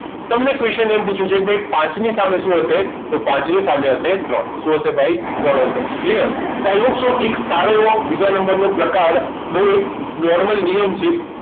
તેમ ને question એમ પૂછ્યું કે ભાઈ પાંચની સામે શું હશે તો પાંચની સામે હશે ત્રણ શું હશે ભાઈ ત્રણ હશે clear તો દોસ્તો એક સારો એવો બીજા નંબરનો પ્રકાર એક normally નિયમ છે